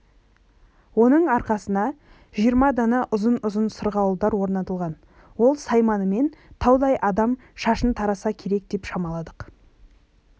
оның арқасына жиырма дана ұзын-ұзын сырғауылдар орнатылған ол сайманымен таудай адам шашын тараса керек деп шамаладық